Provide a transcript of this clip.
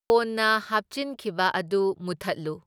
ꯀꯣꯟꯅ ꯍꯥꯞꯆꯤꯟꯈꯤꯕ ꯑꯗꯨ ꯃꯨꯊꯠꯂꯨ꯫